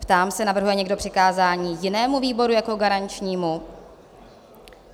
Ptám se, navrhuje někdo přikázání jinému výboru jako garančnímu?